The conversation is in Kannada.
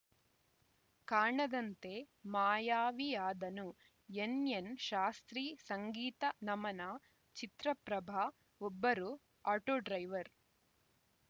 ಕಾಣದಂತೆ ಮಾಯಾವಿಯಾದನು ಎನ್‌ಎನ್‌ ಶಾಸ್ತ್ರಿ ಸಂಗೀತ ನಮನ ಚಿತ್ರ ಪ್ರಭ ಒಬ್ಬರು ಆಟೋ ಡ್ರೈವರ್‌